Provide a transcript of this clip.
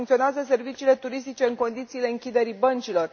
Mai funcționează serviciile turistice în condițiile închiderii băncilor?